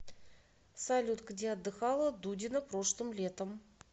салют где отдыхала дудина прошлым летом